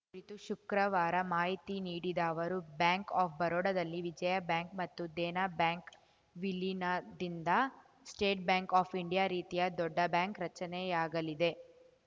ತು ಶುಕ್ರವಾರ ಮಾಹಿತಿ ನೀಡಿದ ಅವರು ಬ್ಯಾಂಕ್‌ ಆಫ್‌ ಬರೋಡಾದಲ್ಲಿ ವಿಜಯಾ ಬ್ಯಾಂಕ್‌ ಮತ್ತು ದೇನಾ ಬ್ಯಾಂಕ್‌ ವಿಲೀನದಿಂದ ಸ್ಟೇಟ್‌ ಬ್ಯಾಂಕ್‌ ಆಫ್‌ ಇಂಡಿಯ ರೀತಿಯ ದೊಡ್ಡ ಬ್ಯಾಂಕ್‌ ರಚನೆಯಾಗಲಿದೆ